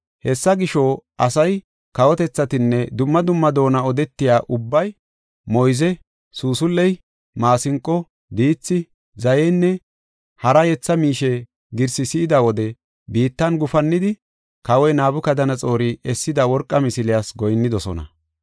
Hessa gisho, asay, kawotethatinne dumma dumma doona odetiya ubbay moyze, suusul7e, maasinqo, diithi, zayenne hara yetha miishe girsi si7ida wode biittan gufannidi, kawoy Nabukadanaxoori essida worqa misiliyas goyinnidosona.